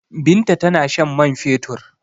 Binta tana shan man fetur.